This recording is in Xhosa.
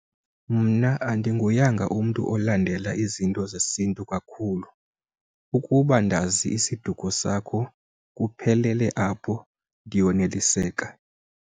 Mna andinguyanga umntu olandela izinto zesintu kakhulu, ukuba ndazi isiduko sakho kuphelele apho ndiyoneliseka.